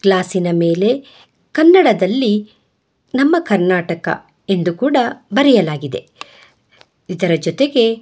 ಗ್ಲಾಸಿನ ಮೇಲೆ ಕನ್ನಡದಲ್ಲಿ ನಮ್ಮ ಕರ್ನಾಟಕ ಎಂದು ಕೂಡ ಬರೆಯಲಾಗಿದೆ ಇದರ ಜೊತೆಗೆ.